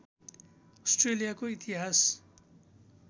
अस्ट्रेलियाको इतिहास